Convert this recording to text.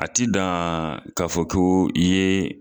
A ti dan ka fɔ ko i ye